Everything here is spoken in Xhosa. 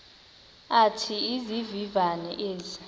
athi izivivane ezi